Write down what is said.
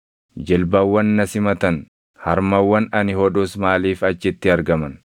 Jilbawwan na simatan, harmawwan ani hodhus maaliif achitti argaman?